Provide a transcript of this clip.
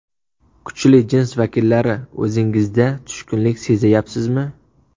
Kuchli jins vakillari, o‘zingizda tushkunlik sezayapsizmi?